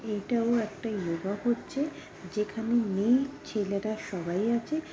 এটাও একটা ইয়োগা করছে যেখানে মেয়ে ছেলেরা সবাই আছে।